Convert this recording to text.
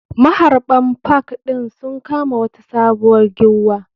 Maharɓan park ɗi sun kama wata sabuwar giwwa.